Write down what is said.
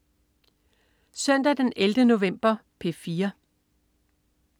Søndag den 11. november - P4: